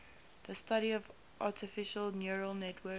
the study of artificial neural networks